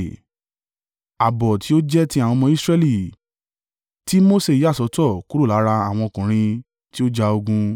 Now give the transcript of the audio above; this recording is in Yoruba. Ààbọ̀ tí ó jẹ́ ti àwọn ọmọ Israẹli, tí Mose yà sọ́tọ̀ kúrò lára àwọn ọkùnrin tí ó ja ogun.